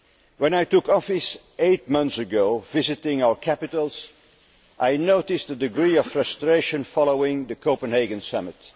When I took office eight months ago, while visiting our capitals, I noticed a degree of frustration following the Copenhagen Summit.